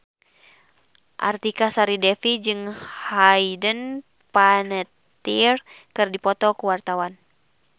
Artika Sari Devi jeung Hayden Panettiere keur dipoto ku wartawan